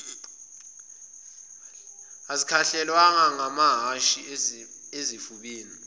azikhahlelwanga ngamahhashi ezifubeni